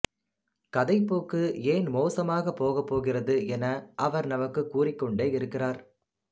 கதைப்போக்கு ஏன் மோசமாகப் போகப்போகிறது என அவர் நமக்குக் கூறிக்கொண்டே இருக்கிறார்